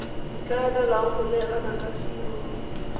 ikaelelang go neelana ka tirelo